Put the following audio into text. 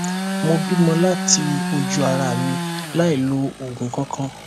mo bímo láti ojú ara mi láì lo òògùn kankan